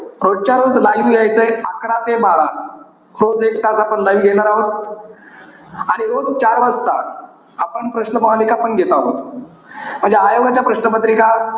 रोजच्या रोज live यायचंय. अकरा ते बारा. रोज एक तास आपण live घेणार आहोत. आणि रोज चार वाजता, आपण प्रश्नमालिका पण घेत आहोत. म्हणजे आयोगाच्या प्रश्न पत्रिका,